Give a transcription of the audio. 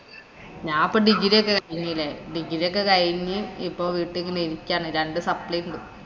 ഞാപ്പോ degree യൊക്കെ കഴിഞ്ഞീലേ. degree യൊക്കെ കഴിഞ്ഞ് ഇപ്പൊ വീട്ടീ ഇങ്ങനെ ഇരിക്കാണ്. രണ്ടു supply യുണ്ട്.